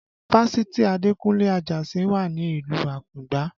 Fásitì Adekunle Ajasin wà ní ìlú Akungba